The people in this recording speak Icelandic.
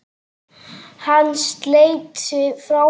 Hann sleit sig frá henni.